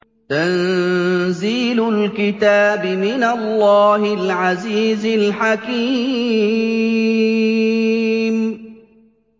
تَنزِيلُ الْكِتَابِ مِنَ اللَّهِ الْعَزِيزِ الْحَكِيمِ